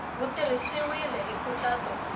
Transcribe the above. wu tirhisiwile hi nkhaqato ku